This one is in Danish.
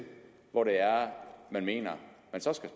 hvor det er man mener